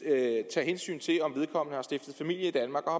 tage hensyn til om vedkommende har stiftet familie i danmark og